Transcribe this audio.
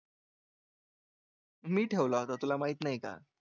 ठेवला होता तुला माहित नाही का?